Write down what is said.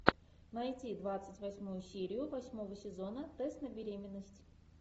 найти двадцать восьмую серию восьмого сезона тест на беременность